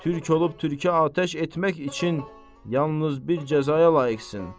Türk olub türkə atəş etmək üçün yalnız bir cəzaya layiqsin.